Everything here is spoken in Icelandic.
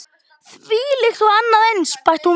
Þvílíkt og annað eins- bætti hún við.